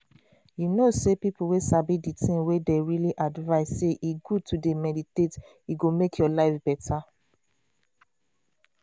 u know sey people wey sabi dey thing well dey really advice sey e good to d meditate e go make ur life beta.